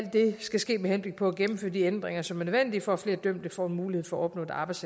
skal ske med henblik på at gennemføre de ændringer som er nødvendige for at flere dømte får en mulighed for at opnå et arbejde